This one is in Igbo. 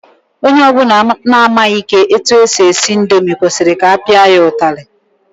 Onye ọbụla na-amaghị etu e si esi indomi kwesịrị ka a pịa ya ụtalị.